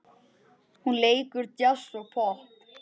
Hún leikur djass og popp.